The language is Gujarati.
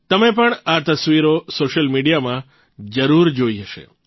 તમે પણ આ તસ્વીરો સોશિયલ મીડિયામાં જરૂર જોઇ હશે